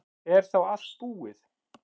Er þá allt búið?